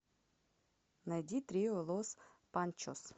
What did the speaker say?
найди трио лос панчос